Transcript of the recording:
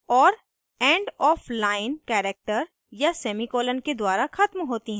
और end of line character या semicolon के द्वारा ख़त्म होती हैं